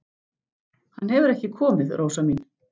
Hann hefur ekki komið, Rósa mín.